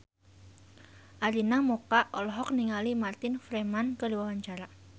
Arina Mocca olohok ningali Martin Freeman keur diwawancara